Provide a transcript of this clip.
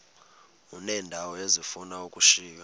uneendawo ezifuna ukushiywa